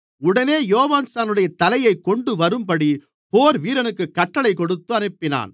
உடனே யோவான்ஸ்நானனுடைய தலையைக் கொண்டுவரும்படி போர்வீரனுக்குக் கட்டளைக் கொடுத்து அனுப்பினான்